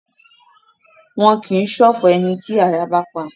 Wọn kìí ṣọ̀fọ̀ ẹni tí àrá bá pa